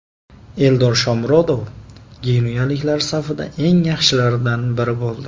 Eldor Shomurodov genuyaliklar safida eng yaxshilardan biri bo‘ldi.